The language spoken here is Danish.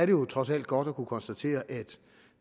jo trods alt godt at kunne konstatere at